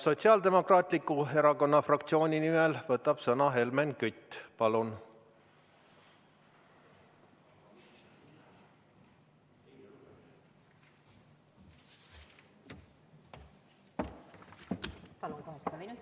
Sotsiaaldemokraatliku Erakonna fraktsiooni nimel võtab sõna Helmen Kütt.